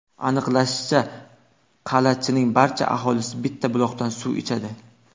Aniqlanishicha, Qalachining barcha aholisi bitta buloqdan suv ichadi.